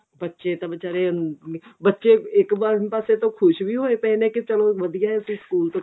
ਬੱਚੇ ਤਾਂ ਵਿਚਾਰੇ ah ਬੱਚੇ ਇੱਕ ਪਾਸੇ ਤੋਂ ਤਾਂ ਖ਼ੁਸ਼ ਵੀ ਹੋਏ ਪਏ ਨੇ ਕੀ ਚੱਲੋ ਵਧੀਆ ਵੀ ਚਲੋ ਸਕੂਲ ਤੋਂ